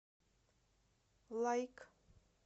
лайк